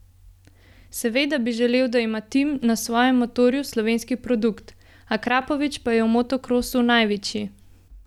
Seveda bi želel, da ima Tim na svojem motorju slovenski produkt, Akrapovič pa je v motokrosu največji.